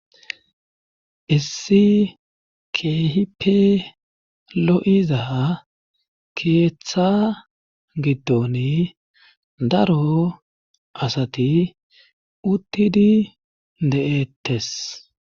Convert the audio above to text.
issi keehipe lo7iza keeththa giddon daro asati uttidi de7ettes